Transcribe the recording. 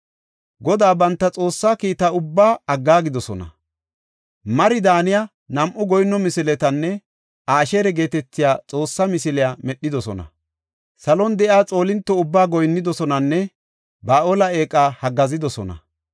Godaa banta Xoossaa kiita ubbaa aggaagidosona. Mari daaniya, nam7u goyinno misiletanne Asheera geetetiya eeqe misiliya medhidosona. Salon de7iya xoolinto ubbaa goyinnidosonanne Ba7aale eeqa haggaazidosona.